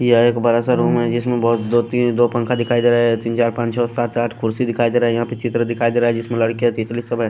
ये एक बड़ा सा रूम है जिसमें बहुत दो तीन दो पंखा दिखाई दे रहा है तीन चार पांच छ सात आठ कुर्सी दिखाई दे रहा है यहाँ पे चित्र दिखाई दे रहा है जिसमें लड़कियां तितली सब है।